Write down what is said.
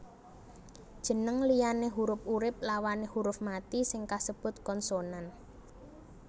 Jeneng liyane hurup urip lawané huruf mati sing kasebut konsonan